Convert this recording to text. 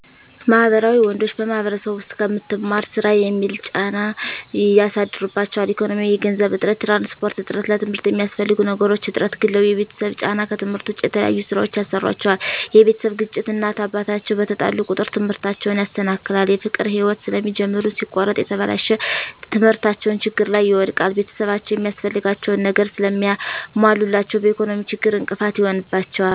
ማህበራዊ ወንዶች በማህበረሰቡ ዉስጥ ከምትማር ስራ የሚል ጫና ያሳድሩባቸዋል። ኢኮኖሚያዊ የገንዘብ እጥረት፣ የትራንስፖርት እጥረት፣ ለትምርት የሚያስፈልጉ ነገሮች እጥረት፣ ግላዊ የቤተሰብ ጫና ከትምህርት ዉጭ የተለያዩ ስራወችን ያሰሩአቸዋል የቤተሰብ ግጭት እናት እና አባት አቸዉ በተጣሉ ቁጥር ትምህርታቸዉን ያሰናክላል። የፍቅር ህይወት ስለሚጀምሩ ሲቆረጥ የተበላሸ ትምህርታቸዉን ችግር ላይ ይወድቃል። ቤተሰብአቸዉ የሚያስፈልጋቸዉን ነገር ስለማያሞሉላቸዉ በኢኮኖሚ ችግር እንቅፋት ይሆንባቸዋል።